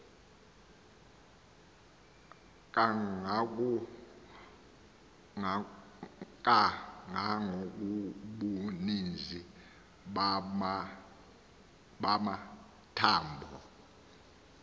kangangobuninzi bama thambo